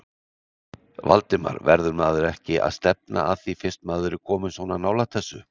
Valdimar: Verður maður ekki að stefna að því fyrst maður er kominn svona nálægt þessu?